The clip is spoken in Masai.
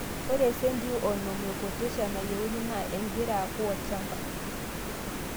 ore esentii onom ee potassium nayieuni NAA engira aku olchamba